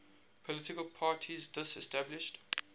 political parties disestablished